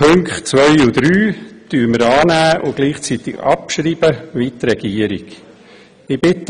Die Punkte 2 und 3 nehmen wir an und schreiben sie gleichzeitig ab, wie die Regierung dies tut.